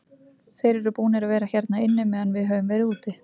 Þeir eru búnir að vera hérna inni meðan við höfum verið úti.